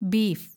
beef